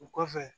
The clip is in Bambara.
O kɔfɛ